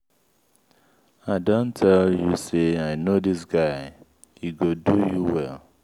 i don tell you say i know dis guy he go do you well.